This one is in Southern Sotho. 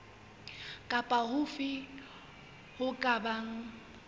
kapa hofe ho ka bang